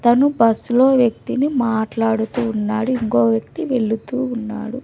తను బస్సులో వ్యక్తిని మాట్లాడుతూ ఉన్నాడు ఇంకో వ్యక్తి వెళుతూ ఉన్నాడు.